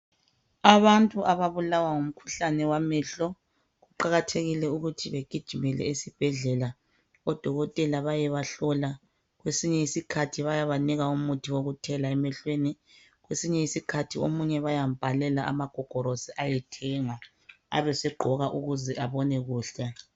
Abantu ababulawa ngumkhuhlane wamehlo kuqakathekile ukuthi begijimele esibhedlela odokotela bayebahlola. kwesinye isikhathi bayabanika umuthi wokuthela emehlweni. Kwesinye isikhathi omunye bayambhalela amagogorosi ahambe ayethenga abe segqoka ukuze abone kuhle.